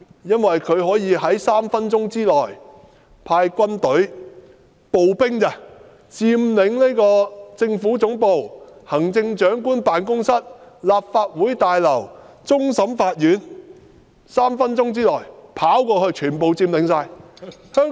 因為中央政府可以在3分鐘內派軍隊——步兵而已——佔領政府總部、行政長官辦公室、立法會大樓和終審法院，他們可於3分鐘內跑過去，全部可以佔領。